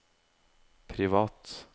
privat